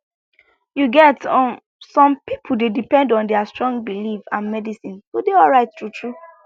you get um some people dey depend on their strong belief and medicine to dey alright truetrue